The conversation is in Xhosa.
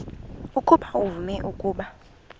ukuba uvume ukuba